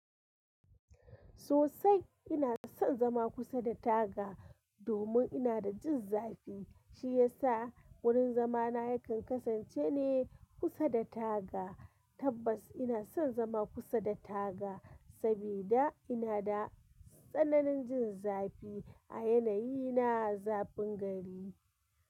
Sosai ina son zama kusa da taga domin ina da jin zafi. Shi ya sa wurin zama na yakan kasance ne kusa da taga. Tabbas ina son zama kusa da taga saboda ina da tsananin jin zafi a yanayi na zafin gari.